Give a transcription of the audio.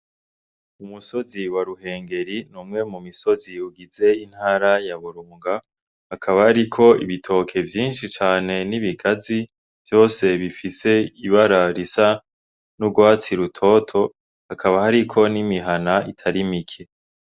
Umusozi wa Ruhengeri , n’umwe mu misozi ugize intara ya Burunga hakaba hariko ibitoke vyinshi cane n’ibigazi vyose bifise ibara risa n’urwatsi rutoto hakaba hariko n’imihana itari mike.